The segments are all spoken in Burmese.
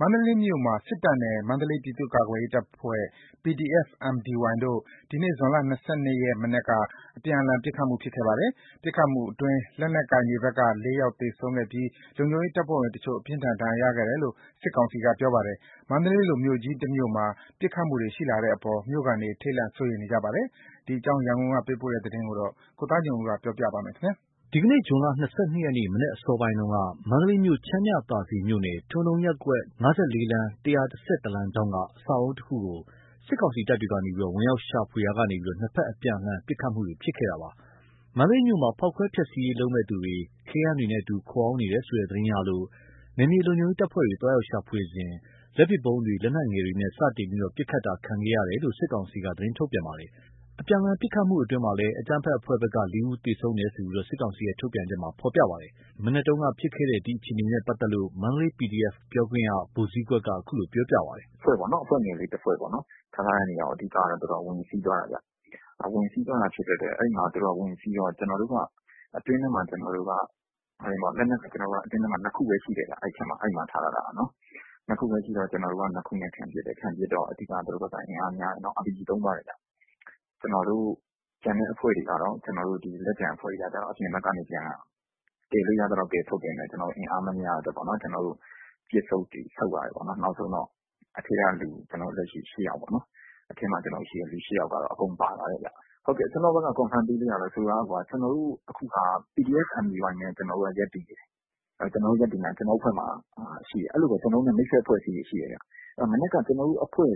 မန္တလေးမြို့မှာ စစ်တပ်နဲ့ မန္တလေးပြည်သူ့ကာကွယ်ရေးအဖွဲ့ PDF-Mdy တို့ ဒီနေ့ ဇွန်လ ၂၂ ရက်နေ့ မနက်က အပြန်အလှန်ပစ်ခတ်မှုဖြစ်ခဲ့ပါတယ်။ ပစ်ခတ်မှုအတွင်း လက်နက်ကိုင်တွေဖက်က ၄ ယောက်သေဆုံးခဲ့ပြီး လုံခြုံရေးတပ်ဖွဲ့ဝင်တချို့ အပြင်းအထန်ဒဏ်ရာရခဲ့တယ်လို့ စစ်ကောင်စီက ပြောပါတယ်။ မန္တလေးလိုမြို့ကြီးတမြို့မှာ ပစ်ခတ်မှုတွေ ရှိလာတဲ့အပေါ် မြို့ခံတွေ ထိတ်လန့် စိုးရိမ်နေကြပါတယ်။ ဒီအကြောင်း ရန်ကုန်ကပေးပို့လာတဲ့သတင်းကို ကိုသားညွန့်ဦး ပြောပြပါမယ်။ ဒီကနေ့ ဇွန် ၂၂ ရက် မနက်အစောပိုင်းက မန္တလေးမြို့ ချမ်းမြသာစည်မြို့နယ် ထွန်တုံးရပ်ကွက် ၅၄ လမ်း ၁၁၁ လမ်းထောင့်က အဆောက်အဦးတခုကို စစ်ကောင်စီတပ်တွေက ဝင်ရောက်ရှာဖွေရာကနေ ၂ ဖက်အပြန်အလှန် ပစ်ခတ်တာတွေ ဖြစ်ပွားခဲ့တာပါ။ မန္တလေးမြို့မှာ ဖောက်ခွဲ ဖျက်ဆီးရေးလုပ်မယ့်သူတွေ ခဲယမ်းတွေနဲ့အတူ ခိုအောင်းနေတယ်ဆိုတဲ့ သတင်းရလို့ နယ်မြေလုံခြုံရေးတပ်ဖွဲ့ဝင်တွေ သွားရောက်ရှာဖွေစဉ်၊ လက်ပစ်ဗုံးတွေ လက်နက်ငယ်တွေနဲ့ စတင်ပစ်ခတ်တာ ခံခဲ့ရတယ်လို့ စစ်ကောင်စီက သတင်းထုတ်ပြန်ပါတယ်။ အပြန်အလှန်ပစ်ခတ်မှုတွေအတွင်း အကြမ်းဖက် အဖွဲ့ဖက်က ၄ ယောက် သေဆုံးတယ်လို့ ထုတ်ပြန်ချက်မှာ ပြောထားပါတယ်။ မနက်က ဖြစ်ခဲ့တဲ့အခြေအနေနဲ့ ပတ်သက်လို့ မန္တလေး PDF က ဗိုလ်ဇီးကွက်က အခုလိုပြောပြပါတယ်။ “အဖွဲ့ပေါ့နော် ၊ အဖွဲ့ငယ်လေးတဖွဲ့ပေါ့ ။ ထားထားတဲ့နေရာကို ဝင်စီးသွားတာခင်ဗျ။ ဝင်စီးသွားတော့ အတွင်းထဲမှာ ကျွန်တေ်ာတို့က လက်နက်က ၂ ခုပဲရှိတယ်ခင်ဗျ။ အဲ့မှာ ထားထားတာ။ ၂ ခုပဲရှိတော့ ၂ ခုနဲ့ခံပစ်တယ်။ ခံပစ်တော့ အဓိက က သူတို့ဘက်က အင်အားများတယ်။ နောက်ပြီးတော့ RPG သုံး သွားတယ်ခင်ဗျ။ ကျွန်တော်တို့ လက်ကျန်အဖွဲ့တွေက ကျတော့ အပြင်ဘက်ကနေ ကယ်လို့ရသလောက် ကယ်ထုတ်ပေမယ့် အင်အားမမျှလို့ ပစ်ဆုတ် ဆုတ်ရတယ်ပေါ့။ နောက်ဆုံးတော့ အထဲကလူ ၈ ယောက်ပေါ့နော် အထဲမှာရှိတဲ့ လူ ၈ ယောက်ကတော့ အကုန်ပါသွားတယ်။ ကျွန်တော်တို့ဘက်က အတည်ပြုလို့ရတာက ကျွန်တော်တို့က PDF Mdy နဲ့ ရပ်တည်နေတယ်။ အဲ့လိုပဲ ကျွန်တော်တို့နဲ့ မိတ်ဖက် အဖွဲ့အစည်းတွေရှိတယ်။ မနက်က ကျွန်တော်တို့ထဲက အဖွဲ့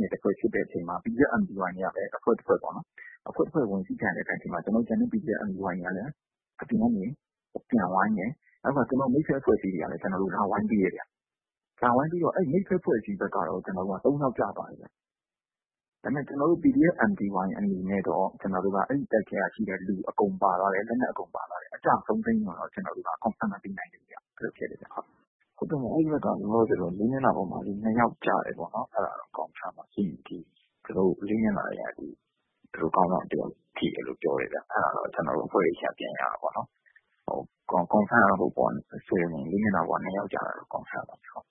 ငယ် တဖွဲ့ဖြစ်တဲ့အချိန်မှာ PDF Mdy တွေကလည်း အဖွဲ့တဖွဲ့ပေါ့။ အဖွဲ့တဖွဲ့ဝင်စီးခံရချိန်မှာ ကျန်တဲ့ Mdy PDF တွေကလည်း ပြန်ဝိုင်းတယ်။ ကျန်တဲ့ မိတ်ဖက် အဖွဲ့အစည်းတွေကလည်း လာဝိုင်းပေးတယ်ခင်ဗျ။ အဲ့မိတ်ဖက် အဖွဲ့အစည်းဘက်ကတော့ ၃ ယောက်ကျသွားတယ်။ ကျွန်တော်တို့ Mdy PDF အနေနဲ့ကတော့ အဲ့တိုက်ထဲက လူအကုန်ပါသွားတယ်။ အကျအဆုံးစာရင်းကိုတော့ အတည်မပြုနိုင်ဘူး။ သူတို့ဘက်ကတော့ လေးမျက်နှာ ၂ ယောက်ကျတယ်ပေါ့။ ၄ မျက်နှာဘက်က ခေါင်းဆောင်တယောက်ထိတယ်။ အတည်ပြုတာကတော့ လေးမျက်နှာဘက်မှာ ၂ ယောက်ကျတယ်ဆိုတာကတော့ အတည်ပြုနိုင်တာပေါ့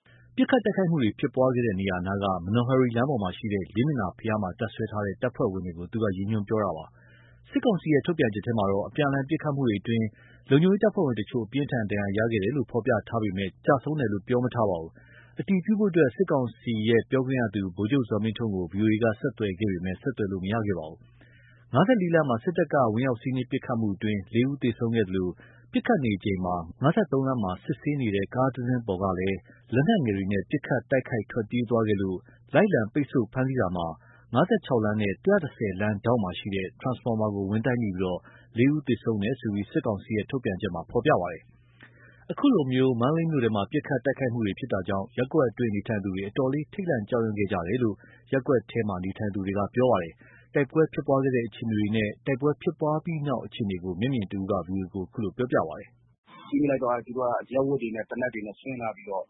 ။ ပစ်ခတ် တိုက်ခိုက်မှုတွေ ဖြစ်ခဲ့တဲ့နေရာနားက မနော်ဟရီလမ်းပေါ်မှာရှိတဲ့ လေးမျက်နှာဘုရားမှာ တပ်စွဲထားတဲ့ တပ်ဖွဲ့ဝင်တွေကို သူကပြောနေတာပါ။ စစ်ကောင်စီရဲ့ ထုတ်ပြန်ချက်မှာတော့ အပြန်အလှန် ပစ်ခတ်မှုတွေအတွင်း လုံခြုံရေးတပ်ဖွဲ့ဝင်တချို့ အပြင်းအထန်ဒဏ်ရာရခဲ့တယ်လို့ ဖော်ပြထားပေမဲ့ ကျဆုံးတယ်လို့ ပြောမထားပါဘူး။ အတည်ပြုဖို့ စစ်ကောင်စီ ပြန်ကြားရေး ဒုဝန်ကြီး ဗိုလ်ချုပ်ဇော်မင်းထွန်းကို ဗွီအိုအေက ဆက်သွယ်ခဲ့ပေမယ့် ဆက်သွယ်လို့ မရခဲ့ပါဘူး။ ၅၄ လမ်းမှာ စစ်တပ်က ဝင်ရောက်စီးနင်းပစ်ခတ်မှုအတွင်း ၄ ယောက်သေဆုံးခဲ့သလို၊ ပစ်ခတ်နေချိန် ၅၃ လမ်းမှာ စစ်ဆေးနေတဲ့ ကားတစီးပေါ်ကလည်း လက်နက်ငယ်တွေနဲ့ ပစ်ခတ်တိုက်ခိုက် ထွက်ပြေးသွားခဲ့လို့ လိုက်လံ ပိတ်ဆို့ ဖမ်းတာမှာ ၅၆ လမ်းနဲ့ ၁၁၀ လမ်းဒေါင့်မှာရှိတဲ့ ထရန်စဖော်မာကို ဝင်တိုက်မိပြီး ၄ ဦးသေဆုံးခဲ့တယ်လို့ စစ်ကောင်စီရဲ့ ထုတ်ပြန်ချက်မှာ ပြောထားပါတယ်။ အခုလို မန္တလေးမြို့ထဲမှာ ပစ်ခတ်တိုက်ခိုက်မှုတွေ ဖြစ်တာကြောင့် ရပ်ကွက်အတွင်း နေထိုင်သူတွေ အတော် ထိတ်လန့် ကြောက်ရွံ့ခဲ့ကြတယ်လို့ ရပ်ကွက်ထဲ နေထိုင်သူတွေက ပြောပါတယ်။ တိုက်ပွဲဖြစ်ပွားခဲ့တဲ့ အခြေအနေနဲ့ တိုက်ပွဲဖြစ်ပွားပြီးနောက် အခြေအနေကို မျက်မြင်တယောက်က ဗီအိုအေကို ခုလိုပြောပြပါတယ်။ “ကြည့်မိလိုက်တော့ သူတို့က အရပ်ဝတ်တွေ သေနတ်တွေနဲ့ဆင်းလာပြီးတော့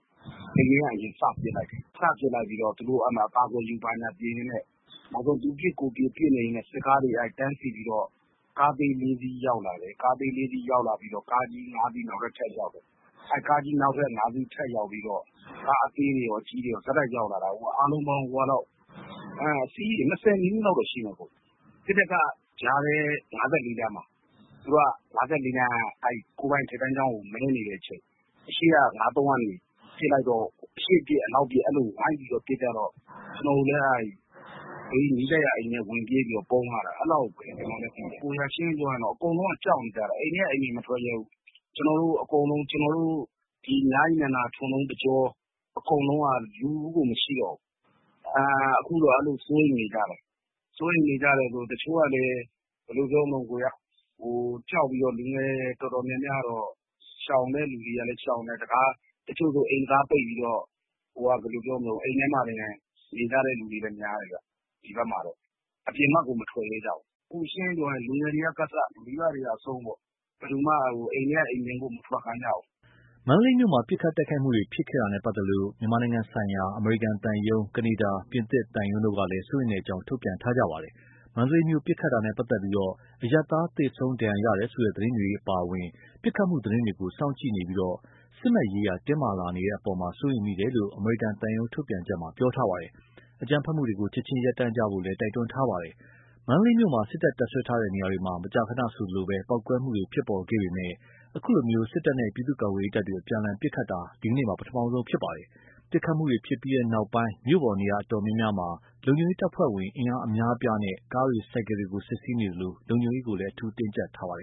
အိမ်ထဲက အရင်စပစ်လိုက်တယ်။ စပစ်လိုက်ပြီးတော့ သူတို့က အကာအကွယ်ယူ ဘာညာဖြစ်ရင်းနဲ့ နောက် သူပစ်ကိုယ်ပစ် ပစ်နေရင်းနဲ့ နောက်ဆုံး စစ်ကားတွေ တန်းစီပြီးတော့ ကားသေး ၄ စီးရောက်လာတယ်။ ကားသေး ၄ စီးရောက်လာပြီးတော့ ကားကြီး ၅ စီး နောက်ထပ် ထပ်ရောက်တယ်။ ကားကြီး ၅ စီးရောက်လာပြီး ကားအသေးတွေကော အကြီးတွေကော ဆက်တိုက်ရောက်လာတာ အစီး ၂၀ နီးနီးလောက် ရှိမယ်။ စစ်တပ်က ၅၄ လမ်းမှာ သူတို့က ၅၄ လမ်းက ကိုယ်ပိုင် အထက်တန်းကျောင်းကို မဲနေတဲ့အချိန် အရှေ့ ၅၃ ကနေပစ်လိုက်တော့ အရှေ့ပစ် အနောက်ပစ်နဲ့ အကုန်ဝိုင်းပြီးပစ်ကြတော့ ကျွန်တော်တို့လည်း နီးစပ်ရာ အိမ်တွေထဲ ဝင်ပြေးပြီး ပုန်းရတာ။ အဲ့လောက်ပဲ ကျွန်တော်လည်းသိတယ်။ ရှင်းရှင်းပြောရရင် အကုန်လုံးက ကြောက်နေကြတာ အိမ်ထဲက အိမ်ပြင် မထွက်ရဲဘူး။ ကျွန်တော်တို့ မြရည်နန္ဒာ ထွန်တုံးတကြော အကုန်လုံးက လူကိုမရှိတော့ဘူး။ အခုတော့ စိုးရိမ်နေကြတယ်။ စိုးရိမ်နေကြတယ်ဆိုတာ့ ဘယ်လိုပြောမလဲ တချို့က ရှောင်တဲ့သူတွေက ရှောင်တယ်။ တချို့ဆို အိမ်တံခါးပိတ်ပြီးတော့ အိမ်ထဲမှာတင် နေကြတဲ့သူတွေများတယ်။ အပြင်ဘက်ကို မထွက်ကြဘူး။ အခုက လူငယ်တွေက အစ မိဘတွေအဆုံး အိမ်ထဲက အိမ်ပြင်ကို မထွက်ခိုင်း ကြဘူး။” မန္တလေးမြို့မှာ ပစ်ခတ်တိုက်ခိုက်မှုတွေ ဖြစ်ခဲ့တာနဲ့ပတ်သက်လို့ မြန်မာနိုင်ငံဆိုင်ရာ အမေရိကန်သံရုံး ၊ ကနေဒါ ၊ ပြင်သစ်သံရုံးတို့ကလည်း စိုးရိမ်ကြောင်း ထုတ်ပြန်ထားကြပါတယ်။ မန္တလေးမြို့ ပစ်ခတ်တာနဲ့ ပတ်သက်လို့ အရပ်သား သေဆုံး ဒဏ်ရာ ရတယ်ဆိုတဲ့ သတင်းတွေအပါအဝင် ပစ်ခတ်မှုသတင်းတွေကို စောင့်ကြည့်နေပြီး စစ်မက်ရေးရာ တင်းမာလာနေတဲ့အပေါ် စိုးရိမ်တယ်လို့ အမေရိကန်သံရုံး ထုတ်ပြန်ချက်မှာ ပြောထားပါတယ်။ အကြမ်းဖက်မှုတွေ ချက်ချင်းရပ်တန့်ဖို့လည်း တိုက်တွန်းထားပါတယ်။ မန္တလေးမှာ စစ်တပ်တပ်စွဲထားတဲ့ နေရာတွေမှာ မကြာခဏဆိုသလို ပေါက်ကွဲမှုတွေ ဖြစ်ပေါ်ခဲ့ပေမယ့် ခုလို စစ်တပ်နဲ့ ပြည်သူ့ကာကွယ်ရေးတပ်တွေ အပြန်အလှန် ပစ်ခတ်တာ ဒီနေ့ ပထမဆုံးဖြစ်ပါတယ်။ ပစ်ခတ်မှုတွေဖြစ်ပြီးနောက် မြို့ပေါ် နေရာတော်တော်များများမှာ လုံခြုံရေးတပ်ဖွဲ့ဝင် အင်အားအများအပြားနဲ့ ကားတွေ ဆိုင်ကယ်တွေကို စစ်ဆေးနေသလို လုံခြုံရေး တင်းကြပ်ထားပါတယ်